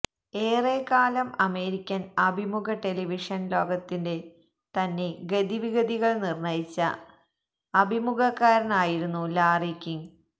ഏറെക്കാലം അമേരിക്കൻ അഭിമുഖ ടെലിവിഷൻ ലോകത്തിന്റെ തന്നെ ഗതിവിഗതികൾ നിർണയിച്ച അഭിമുഖകാരനായിരുന്നു ലാറി കിംഗ്